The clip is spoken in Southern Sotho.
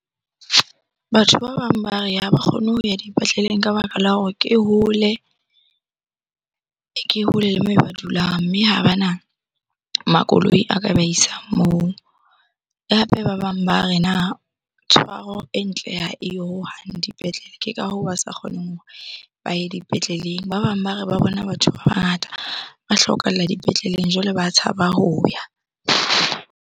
Batho ba bang ba re ha ba kgone ho ya dipetleleng ka baka la hore ke hole le moo ba dulang, mme ha bana makoloi a ka ba isang moo. Hape ba bang ba re na tshwaro e ntle ha eyo hohang dipetlele. Ke ka hoo ba sa kgoneng hore ba ye dipetleleng. Ba bang ba re ba bona batho ba bangata ba hlokahalla dipetleleng, jwale ba tshaba ho ya.